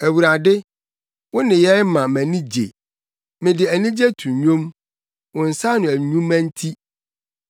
Awurade, wo nneyɛe ma mʼani gye; mede anigye to nnwom, wo nsa ano nnwuma nti.